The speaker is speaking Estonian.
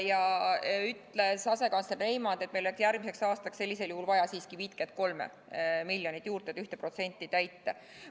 Ja asekantsler Reimand ütles, et meil on järgmiseks aastaks sellisel juhul vaja siiski 53 miljonit juurde, et 1% nõuet täita.